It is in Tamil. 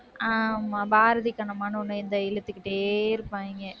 ஆஹ் ஆமா பாரதி கண்ணம்மான்னு ஒண்ணு இந்த இழுத்துக்கிட்டே இருப்பாங்க.